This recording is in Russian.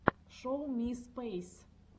шоу ми спэйс